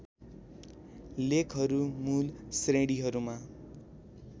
लेखहरू मूल श्रेणीहरूमा